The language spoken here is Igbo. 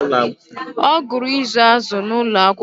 ọ gụrụ izu azụ̀ n'ụlọ akwụkwọ